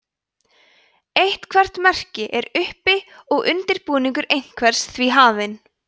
eitthvert merki er uppi og undirbúningur einhvers því hafinn